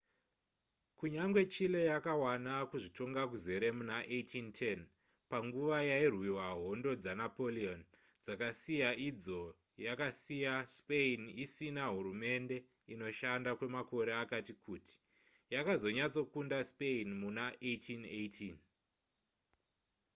kunyangwe chile yakawana kuzvitonga kuzere muna 1810 panguva yairwiwa hondo dzanapoleon dzakasiya idzo yakasiyaspain isina hurumende inoshanda kwemakore akati kuti yakazonyatsokunda spain muna 1818